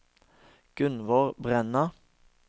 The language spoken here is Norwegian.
Gunnvor Brenna